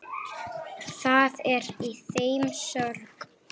Það er í þeim sorg.